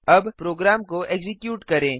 अब प्रोग्राम को एक्जीक्यूट करें